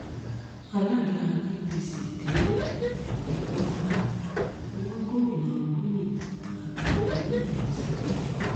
alága apc tẹ́lẹ̀ ní kwara wọ gomina buni àtàwọn mí-ín lọ sílé-ẹjọ́